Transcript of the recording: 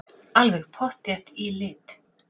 Alveg pottþétt í lit.